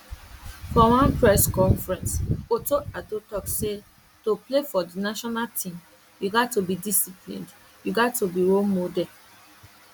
for one press conference otto addo tok say to play for di national team you gat to be disciplined you gat to be role model